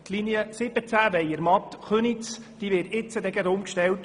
Die Linie 17 Weyermatt/Köniz wird in Kürze auf Elektrobusse umgestellt.